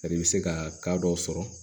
i bɛ se ka ka dɔ sɔrɔ